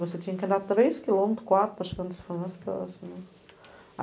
Você tinha que andar três quilômetros, quatro, para chegar no telefone mais próximo.